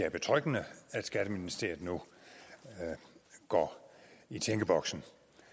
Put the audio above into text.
er betryggende at skatteministeriet nu går i tænkeboksen